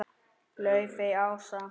Laufey Ása.